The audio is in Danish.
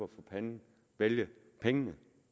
panden vælge pengene